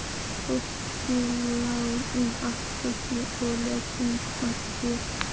Fólk lá út um allar fjörur og hélt um magann.